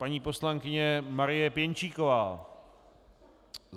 Paní poslankyně Marie Pěnčíková.